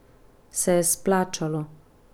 Se je splačalo?